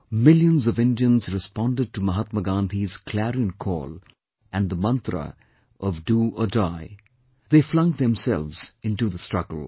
Millions of Indians responded to Mahatma Gandhi's clarion call and the mantra of 'Do or Die'; they flung themselves into the struggle